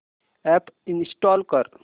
app install कर